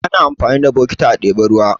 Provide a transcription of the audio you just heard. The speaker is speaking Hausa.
Ana amfani da bokiti a ɗebi ruwa.